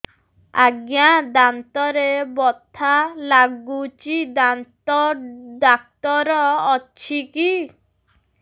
ଆଜ୍ଞା ଦାନ୍ତରେ ବଥା ଲାଗୁଚି ଦାନ୍ତ ଡାକ୍ତର ଅଛି କି